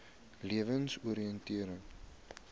lewensoriëntering